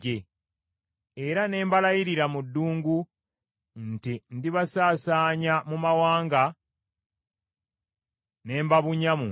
Era ne mbalayirira mu ddungu nti ndibasaasaanya mu mawanga, ne mbabunya mu nsi,